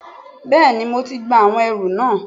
Bẹ́ẹ̀ni mo ti gba àwọn ẹrù náà